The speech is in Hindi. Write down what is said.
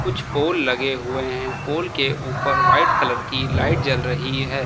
कुछ पोल लगे हुए हैं पोल के ऊपर व्हाइट कलर की लाइट जल रही है।